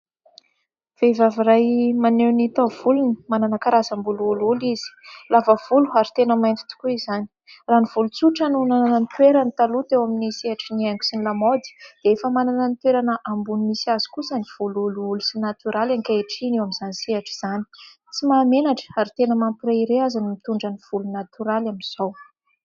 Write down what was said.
Vehivavy iray maneo ny taovolony manana karazambolo oloholo izy. Lava volo ary tena mainty tokoa izany. Raha ny volo tsotra no nanana ny toerany taloa teo amin'ny sehatry ny haingo sy ny lamaody dia, efa manana ny toerana ambony misy azy kosa ny volo oloholo sy natoraly ankehitriny eo amin'izany sehatra izany. Tsy mahamenatra ary tena mampireare aza ny mitondra ny volo natoraly amin'izao.